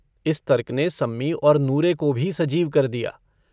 इस तर्क ने सम्मी और नूरे को भी सजीव कर दिया।